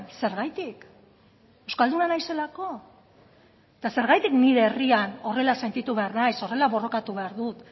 zergatik euskalduna naizelako eta zergatik nire herrian horrela sentitu behar naiz horrela borrokatu behar dut